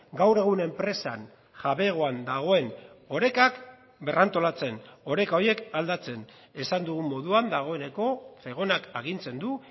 gaur egun enpresan jabegoan dagoen orekak berrantolatzen oreka horiek aldatzen esan dugun moduan dagoeneko zegonak agintzen du